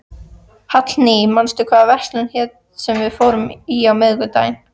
Hallný, manstu hvað verslunin hét sem við fórum í á miðvikudaginn?